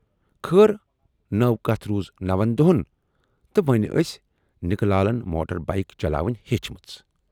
خٲر نٔو کتھ روٗز نوَن دۅہَن تہٕ وۅنۍ ٲسۍ نِکہٕ لالن موٹر بایِک چلاوٕنۍ ہیچھمٕژ۔